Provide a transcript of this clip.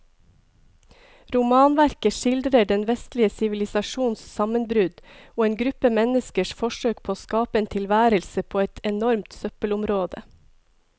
Romanverket skildrer den vestlige sivilisasjons sammenbrudd og en gruppe menneskers forsøk på å skape en tilværelse på et enormt søppelområde.